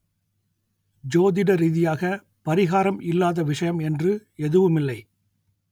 ஜோதிட ரீதியாக பரிகாரம் இல்லாத விஷயம் என்று எதுவுமில்லை